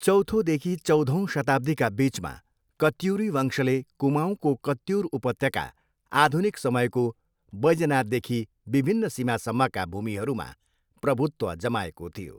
चौथोदेखि चौधौँ शताब्दीका बिचमा कत्युरी वंशले कुमाऊँको कत्युर उपत्यका, आधुनिक समयको बैजनाथदेखि विभिन्न सीमासम्मका भूमिहरूमा प्रभुत्व जमाएको थियो।